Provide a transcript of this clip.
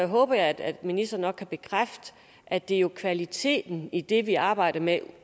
håber jeg at ministeren kan bekræfte at det er kvaliteten i det vi arbejder med